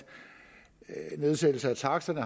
nedsættelse af taksterne